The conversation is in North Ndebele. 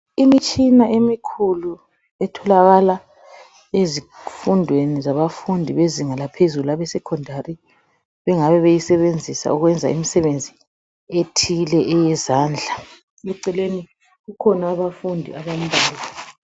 Imitshina emikhulu etholakala ezifundweni zabafundi bezinga laphezulu abe esekhondari bengabe beyisebenzisa ukwenza imisebenzi ethile eyezandla eceleni kukhona abafundi abambalwa.